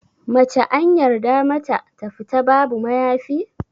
Mace anyarda mata ta fita babu mayafi?